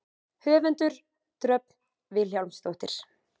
Höfundur: Dröfn Vilhjálmsdóttir.